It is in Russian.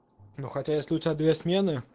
ну хотя если у тебя две смены